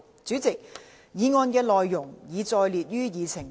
主席，議案內容已載列於議程內。